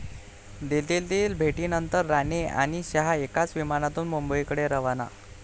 दिल्लीतील भेटीनंतर राणे आणि शहा एकाच विमानातून मुंबईकडे रवाना!